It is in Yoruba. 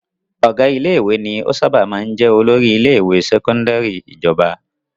Ọ̀gá ilé-ìwé ni ó sábà máa jẹ olórí ilé-ìwé sẹ́kọ́ndárì ìjọba.